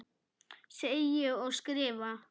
Segi ég og skrifa.